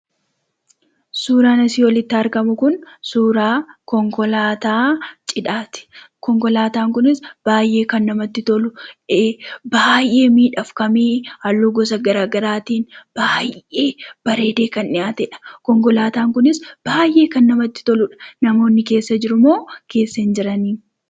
Suuraan asii olitti argamu kun suuraa konkolaataa cidhaati. Konkolaataan kunis baay'ee kan namatti tolu, baay'ee miidhagfamee halluu gosa garaa garaatiin baay'ee bareedee kan dhiyaatedha. Konkolaataan kunis baay'ee kan namatti toludha. Namoonni keessa jirumoo keessa hin jirani?